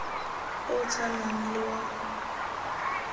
o o tshwanang le wa